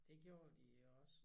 Det gjorde de også